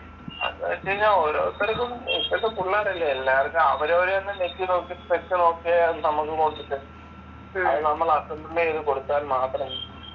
അത് വെച്ചുകഴിഞ്ഞാ ഓരോത്തർക്കും ഇപ്പോഴത്തെ പിള്ളാരല്ലേ എല്ലാർക്കും അവരോരുതന്നെ ഞെക്കി നോക്കി അത് നമ്മൾ അസംബ്ള് ചെയ്ത് കൊടുത്താൽ മാത്രം